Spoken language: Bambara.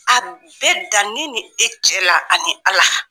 A bɛ dan ne ni e cɛ la ani Ala